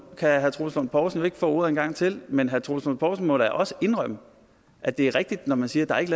kan herre troels lund poulsen ikke få ordet en gang til men herre troels lund poulsen må da også indrømme at det er rigtigt når man siger at der ikke